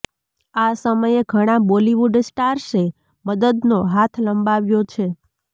આ સમયે ઘણા બોલિવૂડ સ્ટાર્સે મદદનો હાથ લંબાવ્યો છે